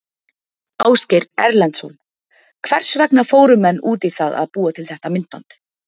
Ásgeir Erlendsson: Hvers vegna fóru menn út í það að búa til þetta myndband?